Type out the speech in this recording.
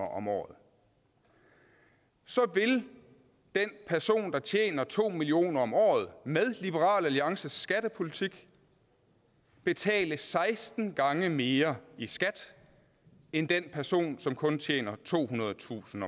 om året så vil den person der tjener to million kroner om året med liberal alliances skattepolitik betale seksten gange mere i skat end den person som kun tjener tohundredetusind